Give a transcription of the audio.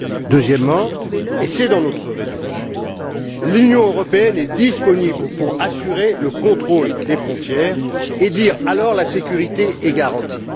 Deuxièmement et c'est dans notre résolution l'Union européenne est disponible pour assurer le contrôle des frontières et dire alors que la sécurité est garantie.